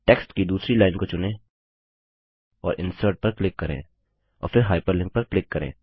text की दूसरी line को चुनें और इंसर्ट पर क्लिक करें और फिर हाइपरलिंक पर क्लिक करें